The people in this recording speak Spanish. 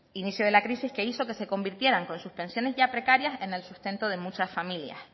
inicio de la crisis que hizo que se convirtieran con sus pensiones ya precarias en el sustento de muchas familias